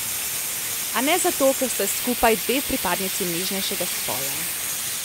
A ne zato, ker sta skupaj dve pripadnici nežnejšega spola.